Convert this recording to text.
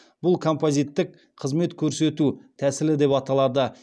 бұл композиттік қызмет көрсету тәсілі деп аталады